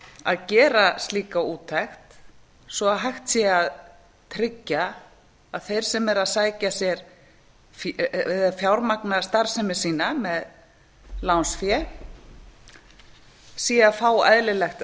að gera slíka úttekt svo að hægt sé að tryggja að þeir sem eru að fjármagna starfsemi sína með lánsfé séu að fá eðlilegt